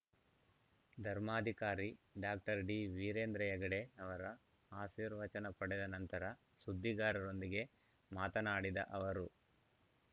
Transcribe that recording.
ಧರ್ಮಾಧಿಕಾರಿ doctor D Veerendra Heggade ಅವರ ಆಶೀರ್ವಚನ ಪಡೆದ ನಂತರ ಸುದ್ದಿಗಾರರೊಂದಿಗೆ ಮಾತನಾಡಿದ ಅವರು